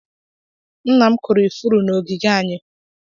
Nna m kụrụ ifuru na ogige anyị.